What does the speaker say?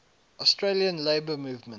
australian labour movement